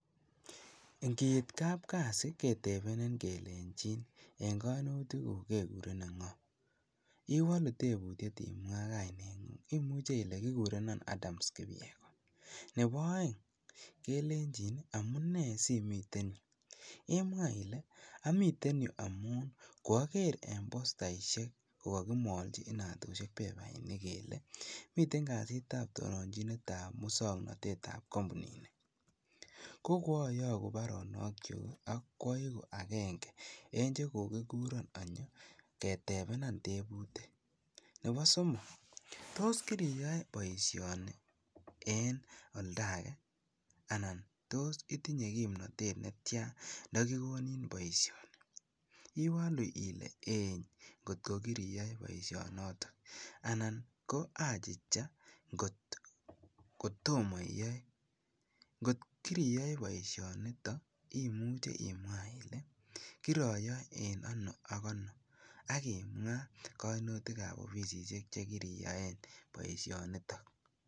Ing'iit kabkasi ketebenin kelenchin en koinutikuk kekurenin ng'oo, iwolu tebutiet imwaa kaineng'ung, imuche ilee kikurenin Adams kipyegon, nebo oeng kelenchin amunee simiten yuu, imwaa ilee amiten yuu amun kwoker en postaishek ko kokimolchi inatushek pepainik kelee miten kasitab muswoknotetab kombunini, ko kwoyoku baronokyuk ak kwaiku akeng'e en chekokikuron anyo ketebenan tebutik, nebo somok, toos kiriyoe boishoni en oldake anan toos itinye kimnotet netyan ndokikonin boishoni, iwoluu ilee eii kot ko kiriyoe boishonotok anan ko achicha kot kotomo iyoe, kot kiriyoe boishonitok imuche imwaa ilee kiroyoe en anoo ak anoo ak imwaa kainutikab ofisishek chekiriyoen boishoniton.